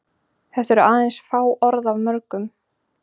Þetta eru aðeins fá orð af mörgum.